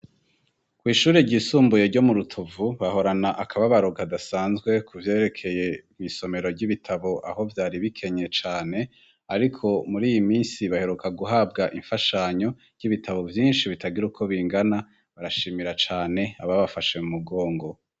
Kw’ishuri ryisumbuye ryo mu rutovu bahorana akababaro kadasanzwe ku vyerekeye mw’ isomero ry'ibitabo aho vyari bikenye cane ariko muri iyi minsi baheruka guhabwa imfashanyo y'ibitabo vyinshi bitagira uko bingana barashimira cane aba bafashe umugongo.